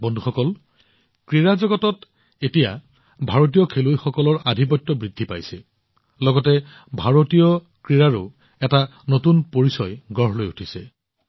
বন্ধুসকল ক্ৰীড়া জগতত এতিয়া ভাৰতীয় খেলুৱৈসকলৰ আধিপত্য বৃদ্ধি পাইছে লগতে ভাৰতীয় ক্ৰীড়াও এক নতুন পৰিচয় হৈ পৰিছে